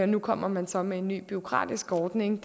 nu kommer man så med en ny bureaukratisk ordning